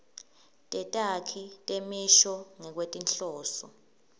tetakhi temisho ngekwetinhloso